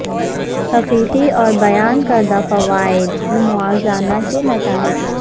حقیقی اور بیان کردہ فوائد کی موازنہ کے نتائج